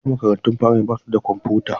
A da, makarantun firamare ba su da kwamfuta.